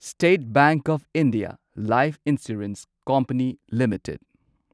state bank of India life insurance company limited